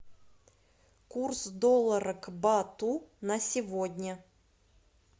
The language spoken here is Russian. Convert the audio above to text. курс доллара к бату на сегодня